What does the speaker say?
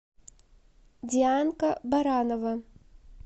дианка баранова